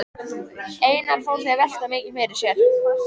Einar Þór velt því mikið fyrir sér.